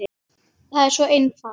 Hjörtur: Það er svo einfalt?